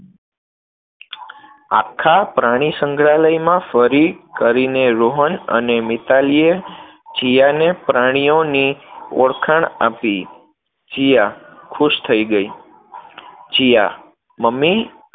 આખા પ્રાણીસંગ્રહાલયમાં ફરી કરીને રોહન અને મિતાલીએ જીયાને પ્રાણીઓની ઓળખાણ આપી, જીયા ખુશ થઇ ગઈ. જીયા મમ્મી